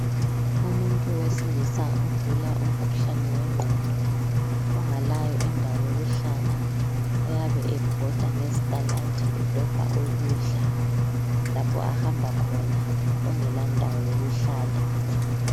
Umuntu wesilisa ogula umkhuhlane wegqondo ongalayo indawo yokuhlala oyabe ebhoda ngezitaladi edobha ukudla lapha ahamba khona, ongelandawo yokuhlala.